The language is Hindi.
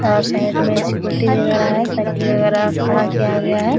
और साइड में स्कूटी वगैरा है साइकिल वगैरा खड़ा किया गया।